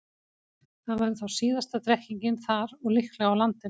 Það væri þá síðasta drekkingin þar og líklega á landinu.